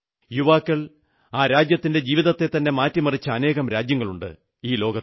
യുവാക്കൾ ജീവിതത്തെത്തന്നെ മാറ്റിമറിച്ച അനേകം രാജ്യങ്ങളുണ്ട് ലോകത്തിൽ